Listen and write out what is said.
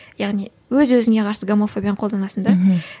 яғни өз өзіңе қарсы гомофобияны қолданасың да мхм